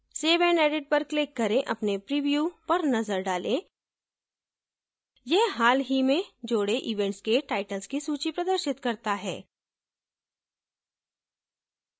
save and edit पर click करें अपने प्रिव्यू पर नजर डालें यह हाल ही में जोडे events के titles की सूची प्रदर्शित करता है